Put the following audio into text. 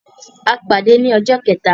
A pade ni ọjọ kẹta.